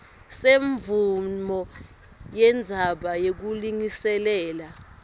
semvumo yendzawo yekulungiselela